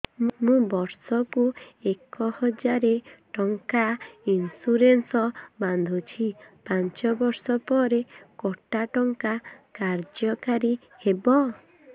ମୁ ବର୍ଷ କୁ ଏକ ହଜାରେ ଟଙ୍କା ଇନ୍ସୁରେନ୍ସ ବାନ୍ଧୁଛି ପାଞ୍ଚ ବର୍ଷ ପରେ କଟା ଟଙ୍କା କାର୍ଯ୍ୟ କାରି ହେବ